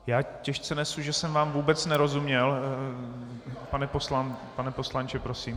Já těžce nesu, že jsem vám vůbec nerozuměl, pane poslanče, prosím.